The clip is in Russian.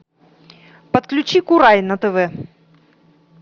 подключи курай на тв